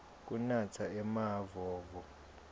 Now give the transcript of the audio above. kunatsa emavovo